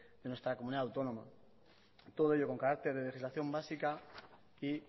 de nuestra comunidad autónoma todo ello con carácter de legislación básica y